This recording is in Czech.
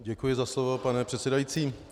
Děkuji za slovo, pane předsedající.